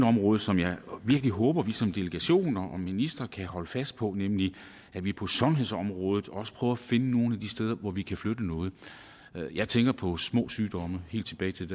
område som jeg virkelig håber vi som delegation og minister kan holde fast på nemlig at vi på sundhedsområdet også prøver at finde nogle af de steder hvor vi kan flytte noget jeg tænker på små sygdomme helt tilbage til